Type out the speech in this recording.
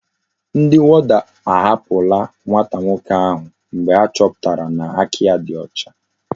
Ndi warder ahapula nwata nwoke ahu mgbe achoputara na aka ya di ocha